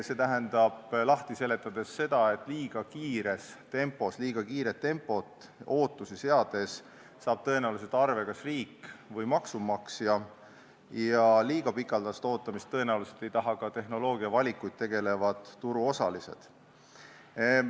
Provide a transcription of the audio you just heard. See tähendab lahti seletades seda, et liiga kiires tempos tegutsedes ja liiga palju ootusi seades saab tõenäoliselt arve kas riik või maksumaksja, aga liiga pikaldast ootamist ei taha tõenäoliselt ka tehnoloogiavalikuid tegevad turuosalised.